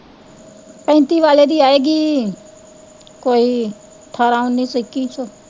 ਪੈਂਤੀ ਵਾਲੇ ਦੀ ਆਏਗੀ ਕੋਈ, ਠਾਰਾਂ, ਉਨੀ ਸੌ ਇੱਕੀ ਸੌ